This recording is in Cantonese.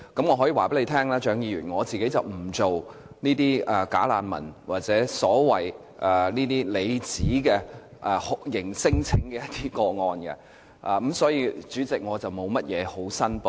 我可以告訴蔣議員，我本身不承接"假難民"或她所指的酷刑聲請個案，所以，代理主席，我沒有甚麼可以申報。